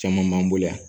Caman b'an bolo yan